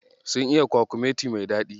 Sun iya kwakumeti mai daɗi.